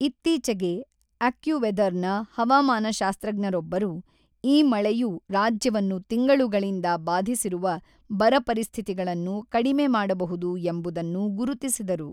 ಇತ್ತೀಚೆಗೆ ಅಕ್ಯುವೆದರ್‌ನ ಹವಾಮಾನಶಾಸ್ತ್ರಜ್ಞರೊಬ್ಬರು ಈ ಮಳೆಯು ರಾಜ್ಯವನ್ನು ತಿಂಗಳುಗಳಿಂದ ಬಾಧಿಸಿರುವ ಬರ ಪರಿಸ್ಥಿತಿಗಳನ್ನು ಕಡಿಮೆ ಮಾಡಬಹುದು ಎಂಬುದನ್ನು ಗುರುತಿಸಿದರು.